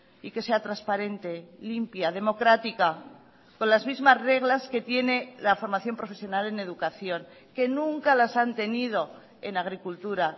y que sea transparente limpia democrática con las mismas reglas que tiene la formación profesional en educación que nunca las han tenido en agricultura